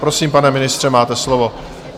Prosím, pane ministře, máte slovo.